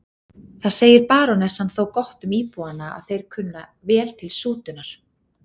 Það segir barónessan þó gott um íbúana að þeir kunna vel til sútunar.